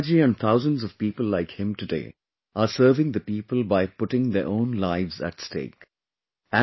Prem Verma ji and thousands of people like him today are serving the people by putting their own lives at stake